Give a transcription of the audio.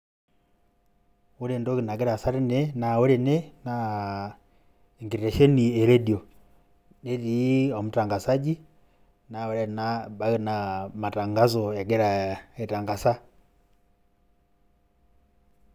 Ore entoki nagira aasa tene naa ore naa enkesheni e redio . Netii omutangasaji naa ore ena naa ebaiki naa matangaso egira aitangasa .